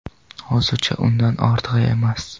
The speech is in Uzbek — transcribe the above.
Hozircha undan ortig‘i emas.